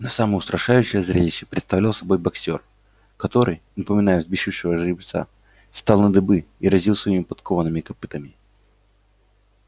но самое устрашающее зрелище представлял собой боксёр который напоминая взбесившегося жеребца встал на дыбы и разил своими подкованными копытами